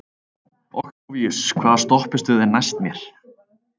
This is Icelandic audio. Októvíus, hvaða stoppistöð er næst mér?